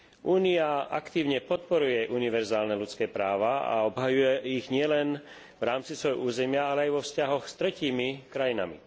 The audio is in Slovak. Únia aktívne podporuje univerzálne ľudské práva a obhajuje ich nielen v rámci svojho územia, ale aj vo vzťahoch s tretími krajinami.